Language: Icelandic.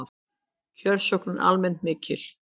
Kjörsókn er almennt mikil